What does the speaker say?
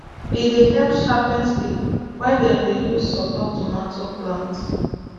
e dey help sharpen stick wey dem dey use support tomato plant